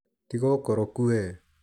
Tiga ũkoroku we.